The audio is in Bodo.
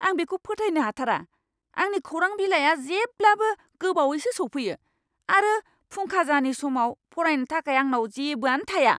आं बेखौ फोथायनो हाथारा! आंनि खौरां बिलाइआ जेब्लाबो गोबावैसो सौफैयो, आरो फुंखाजानि समाव फरायनो थाखाय आंनाव जेबोआनो थाया!